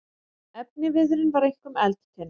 Efniviðurinn var einkum eldtinna.